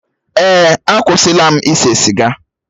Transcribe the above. Èè, akwụsịla m ise siga.